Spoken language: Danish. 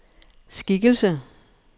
skikkelse